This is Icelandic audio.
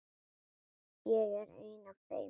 Ég er ein af þeim.